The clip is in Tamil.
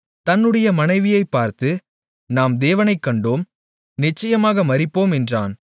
தன்னுடைய மனைவியைப் பார்த்து நாம் தேவனைக் கண்டோம் நிச்சயமாக மரிப்போம் என்றான்